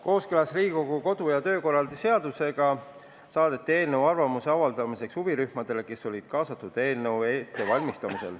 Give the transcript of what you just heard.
Kooskõlas Riigikogu kodu- ja töökorra seadusega saadeti eelnõu arvamuse avaldamiseks huvirühmadele, kes olid kaasatud eelnõu ettevalmistamisse.